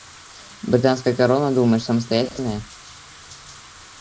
британская корона думаешь самостоятельная